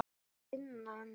Er það vinnan?